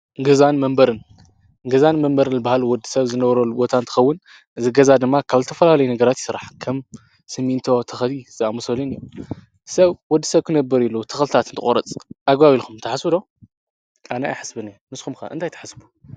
ገዛን መበርን ገዛን መንበር ኣበሃል ወዲ ሰብ ዝነበሮ ልቦታ ንትኸውን ዝገዛ ድማ ካብ ልተፈልለይ ነገራት ይሥራሕ ከም ስሚንቶ ተኸቲ ዝኣምሶሌን እዮም ሰብ ወዲ ሰብ ክነበር ኢሉ ትኽልታትን ተቖረጽ ኣጓቢኢልኹም ተሓስብዶ ኣነኢ ሕስቢኒ ንስኩምካ እንታይተሓስቡ?